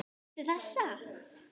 Viltu þessa?